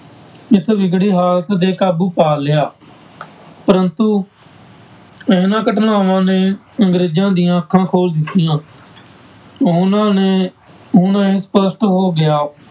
ਇਸ ਵਿਗੜੀ ਹਾਲਤ ਤੇ ਕਾਬੂ ਪਾ ਲਿਆ ਪ੍ਰੰਤੂ ਇਹਨਾਂ ਘਟਨਾਵਾਂ ਨੇ ਅੰਗਰੇਜ਼ਾਂ ਦੀਆਂ ਅੱਖਾਂ ਖੋਲ ਦਿੱਤੀਆਂ ਉਹਨਾਂ ਨੇ ਹੁਣ ਇਹ ਸਪਸ਼ਟ ਹੋ ਗਿਆ,